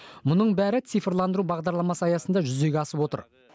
мұның бәрі цифрландыру бағдарламасы аясында жүзеге асып отыр